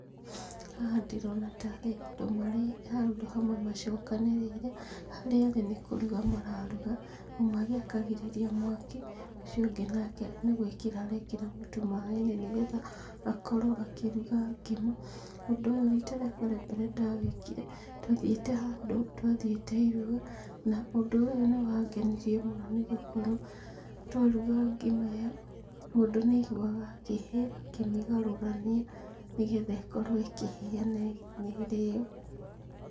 Haha ndĩrona tarĩ andũ marĩ handũ hamwe macokanĩrĩire, harĩa arĩ nĩkũruga mararuga ũmwe agĩakagĩrĩria mwaki ũcio ũngĩ nake nĩgwĩkĩra arekĩra mũtu maĩ-inĩ nĩgetha akorwo akĩruga ngima. Ũndũ ũyũ rita rĩakwa rĩa mbere ndawĩkire ndathiĩte handũ twathiĩte iruga na ũndũ ũyũ nĩwangenirie mũno nĩgũkorwo twaruga ngima ĩo mũndũ nĩaiguaga akĩhĩa akĩmĩgarũrania nĩgetha ĩkorwo ĩkĩhĩa na ĩrĩo.